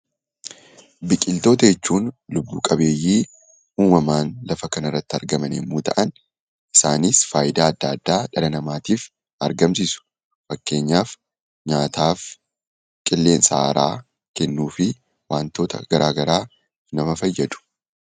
Biqiltoota jechuun lubbu-qabeeyyii uumamaan lafa kana irratti argaman yommuu ta'an, isaanis faayidaa adda addaa dhala namaatiif argamsiisu. Fakkeenyaaf nyaataaf, qilleensa haaraa kennuu fi wantoota garaagaraa nama fayyadu.